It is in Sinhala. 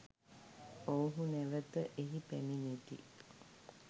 ඔවුහු නැවත එහි පැමිණෙති.